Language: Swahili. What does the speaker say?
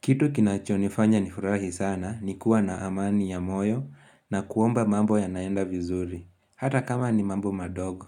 Kitu kinacho nifanya nifurahi sana ni kuwa na amani ya moyo na kuomba mambo yanaenda vizuri hata kama ni mambo madogo